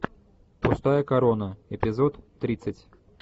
пустая корона эпизод тридцать